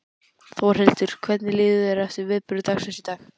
Þórhildur: Hvernig líður þér eftir viðburði dagsins í dag?